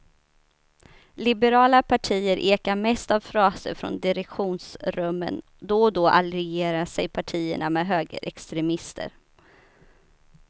Liberala partier ekar mest av fraser från direktionsrummen, då och då allierar sig partierna med högerextremister.